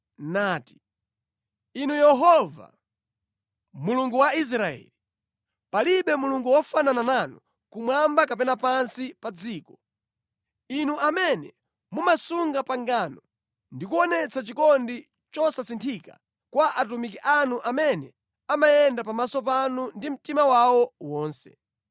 nati: “Inu Yehova, Mulungu wa Israeli, palibe Mulungu wofanana nanu kumwamba kapena pansi pa dziko, inu amene mumasunga pangano ndi kuonetsa chikondi chosasinthika kwa atumiki anu amene amayenda pamaso panu ndi mtima wawo wonse.